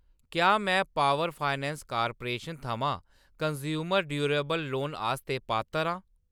क्या मैं power finance corporation थमां कनज़्यूमर ड्यूरेबल लोन आस्तै पात्तर आं ?